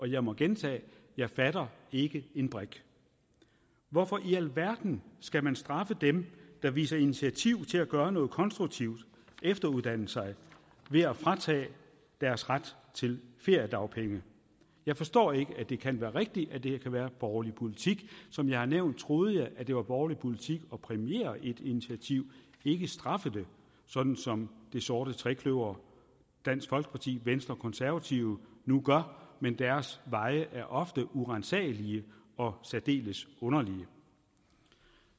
jeg må gentage jeg fatter ikke en brik hvorfor i alverden skal man straffe dem der viser initiativ til at gøre noget konstruktivt og efteruddanner sig ved at fratage dem deres ret til feriedagpenge jeg forstår ikke det kan være rigtigt at det kan være borgerlig politik som jeg har nævnt troede jeg at det var borgerlig politik at præmiere et initiativ ikke straffe det sådan som det sorte trekløver dansk folkeparti venstre og konservative nu gør men deres veje er ofte uransagelige og særdeles underlige